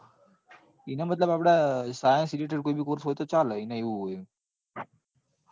એને મતલબ આપડે science related કોઈ બી course હોય તો ચાલે એને એવું છે.